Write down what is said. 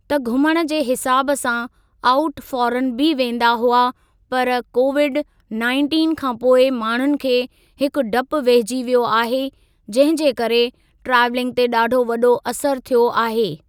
त घुमण जे हिसाब सां आउट फॉरन बि वेंदा हुआ पर कोविड नाइंटिन खां पोइ माण्हुनि खे हिकु डपु वेहिजी वियो आहे जंहिं जे करे ट्रैवलिंग ते ॾाढो वॾो असरु थियो आहे।